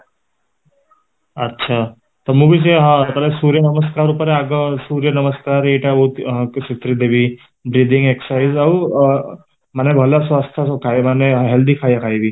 ଆଛା, ତ ମୁଁ ବି ସେଇଆ ସୂର୍ଯ୍ୟ ନମସ୍କାର ଉପରେ ଆଗ ସୂର୍ଯ୍ୟ ନମସ୍କାର ଏଇଟା ଆଗ ଶିଖେଇଦେବିbreathing exercise ଆଉ ଅ ମାନେ ଭଲ ସ୍ୱାସ୍ଥ୍ୟ ମାନେ healthy ଖାଇବା ଖାଇବି